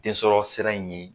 Densɔrɔ sira in ye